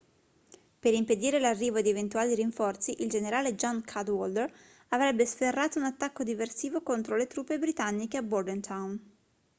per impedire l'arrivo di eventuali rinforzi il generale john cadwalder avrebbe sferrato un attacco diversivo contro le truppe britanniche a bordentown